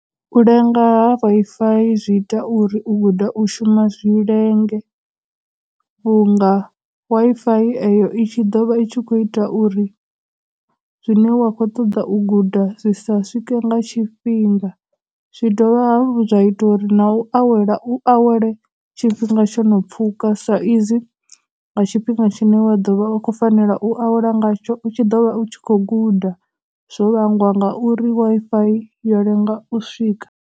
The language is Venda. U lenga ha Wi-Fi zwi ita uri u guda u shuma zwi lenge vhunga Wi-Fi eyo i tshi dovha i tshi khou ita uri zwine wa khou ṱoḓa u guda zwi sa swike nga tshifhinga. Zwi dovha hafhu zwa ita uri na u awela u awele tshifhinga tsho no pfhuka sa izwi nga tshifhinga tshine wa ḓovha u khou fanela u awela ngatsho u tshi ḓovha u tshi khou guda, zwo vhangwa nga uri Wi-Fi yo lenga u swika.